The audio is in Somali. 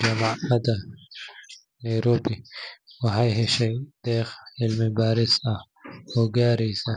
Jamacada Nairobi waxeey heshay deeq cilmi baaris ah oo gaareysa